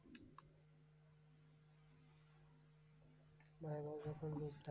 ভয়াবহ বা গম্ভীর,